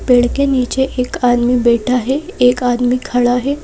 पेड़ के नीचे एक आदमी बैठा है एक आदमी खड़ा है।